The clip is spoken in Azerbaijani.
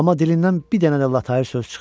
Amma dilindən bir dənə də latayır söz çıxmır.